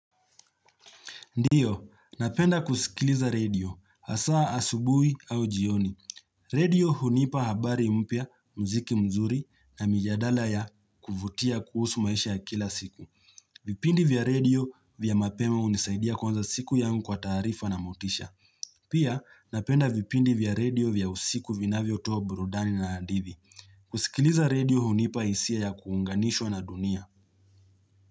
Ndiyo, napenda kusikiliza radio, asaa asubui au jioni. Radio hunipa habari mpya, mziki mzuri na mijadala ya kuvutia kuhusu maisha ya kila siku. Vipindi vya radio vya mapema unisaidia kwanza siku yangu kwa tarifa na motisha. Pia, napenda vipindi vya radio vya usiku vinavyo toa burudani na hadithi. Kusikiliza radio hunipa isia ya kuunganishwa na dunia.